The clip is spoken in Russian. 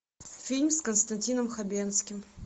фильм с константином хабенским